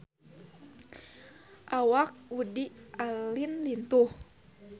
Awak Woody Allen lintuh